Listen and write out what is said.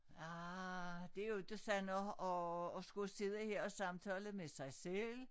Ah det jo inte sådan at at at skulle sidde her og samtale med sig selv